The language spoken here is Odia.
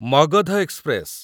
ମଗଧ ଏକ୍ସପ୍ରେସ